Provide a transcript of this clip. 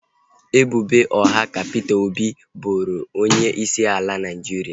Ebubo ụgha ka Peter Obi boro onye isi ala Naijiria